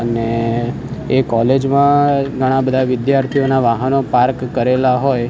અને એ કોલેજ માં ઘણા બધા વિદ્યાર્થીઓના વાહનો પાર્ક કરેલા હોય --